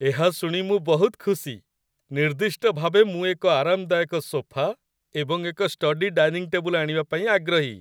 ଏହା ଶୁଣି ମୁଁ ବହୁତ ଖୁସି! ନିର୍ଦ୍ଦିଷ୍ଟ ଭାବେ ମୁଁ ଏକ ଆରାମଦାୟକ ସୋଫା ଏବଂ ଏକ ଷ୍ଟଡି ଡାଇନିଂ ଟେବୁଲ ଆଣିବା ପାଇଁ ଆଗ୍ରହୀ।